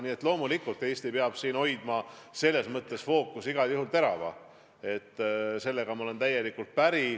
Nii et loomulikult, Eesti peab selles mõttes fookuse igal juhul terava hoidma, sellega olen täielikult päri.